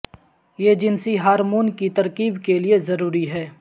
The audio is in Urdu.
یہ جنسی ہارمون کی ترکیب کے لئے ضروری ہے